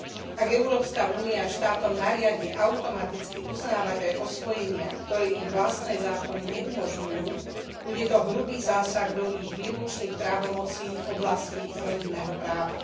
Ak Európska únia štátom nariadi automaticky uznávať aj osvojenia, ktoré ich vlastné zákony neumožňujú, bude to hrubý zásah do ich výlučných právomocí v oblasti rodinného práva.